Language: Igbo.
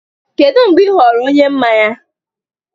Kedu mgbe ị ghọrọ onye mmanya?